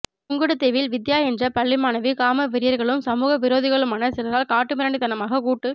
புங்குடுதீவில் வித்தியா என்ற பள்ளி மாணவி காம வெறியர்களும் சமூகவிரோதிகளுமான சிலரால்காட்டுமிராண்டித்தனமாக கூட்டு